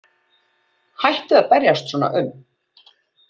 Hættu að berjast svona um.